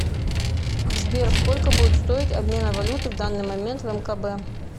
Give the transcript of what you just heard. сбер сколько будет стоить обмена валюты в данный момент в мкб